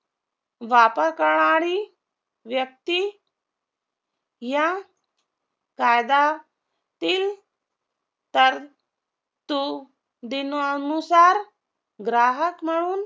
करणारी व्यक्ती या कायदा तील तरतुदी नुसार ग्राहक म्हणून